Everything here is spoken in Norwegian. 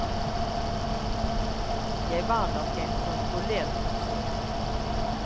Jeg var nok en kontrollert person.